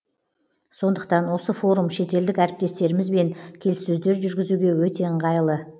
сондықтан осы форум шетелдік әріптестерімізбен келіссөздер жүргізуге өте ыңғайлы